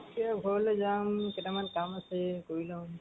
এতিয়া ঘৰলৈ যাম. কেইটামান কাম আছে কৰি লম।